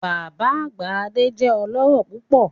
Baba agba Ade jẹ ọlọrọ pupọ